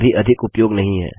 इसका अभी अधिक उपयोग नहीं है